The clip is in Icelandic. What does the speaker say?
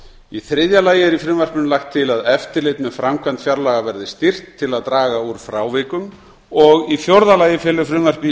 í þriðja lagi er í frumvarpinu lagt til að eftirlit með framkvæmd fjárlaga verði styrkt til að draga úr frávikum og í fjórða lagi felur frumvarpið í